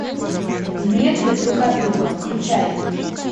в метре друг от друга включай